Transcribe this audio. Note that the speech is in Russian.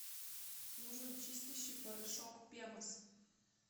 нужен чистящий порошок пемос